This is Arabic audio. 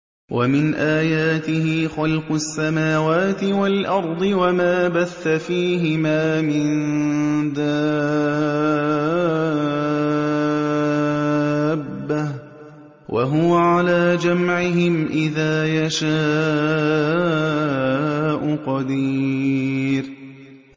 وَمِنْ آيَاتِهِ خَلْقُ السَّمَاوَاتِ وَالْأَرْضِ وَمَا بَثَّ فِيهِمَا مِن دَابَّةٍ ۚ وَهُوَ عَلَىٰ جَمْعِهِمْ إِذَا يَشَاءُ قَدِيرٌ